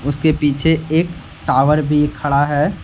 उसके पीछे एक टावर भी खड़ा है।